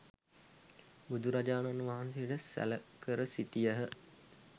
බුදුරජාණන් වහන්සේට සැළ කර සිටියහ.